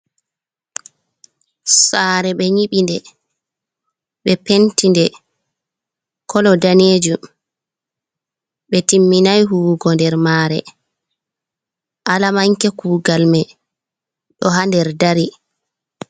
Saare, ɓe nyiɓinde, ɓe penti nde kolo daneejum, ɓe timminay huuwugo nder maare, alamanke kuugal may ɗo haa nder dari.